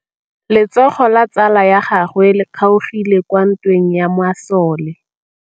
Letsôgô la tsala ya gagwe le kgaogile kwa ntweng ya masole.